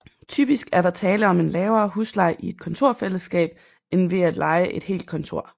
Typisk er der tale om en lavere husleje i et kontorfællesskab end ved at leje et helt kontor